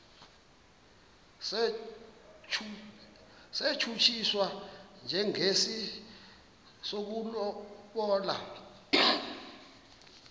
satshutshiswa njengesi sokulobola